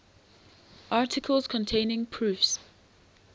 articles containing proofs